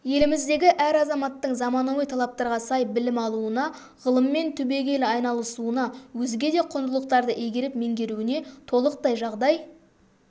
еліміздегі әр азаматтың заманауи талаптарға сай білім алуына ғылыммен түбегейлі айналысуына өзге де құндылықтарды игеріп меңгеруіне толықтай жағдай